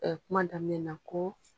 kuma daminɛna ko